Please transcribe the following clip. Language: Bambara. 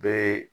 Bɛɛ ye